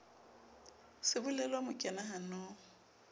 sebolelo o mo kena hanong